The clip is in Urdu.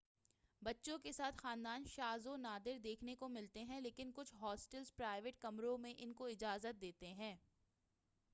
بچوں کے ساتھ خاندان شاز و نادر دیکھنے کو ملتے ہیں لیکن کچھ ہاسٹلز پرائویٹ کمروں میں ان کو اجازت دیتے ہیں